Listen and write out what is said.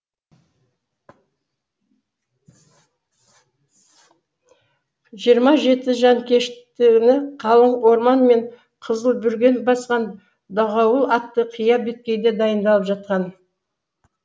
жиырма жеті жанкештіні қалың орман мен қызыл бүрген басқан дағауыл атты қия беткейде дайындалып жатқан